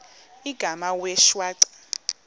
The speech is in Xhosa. igama wee shwaca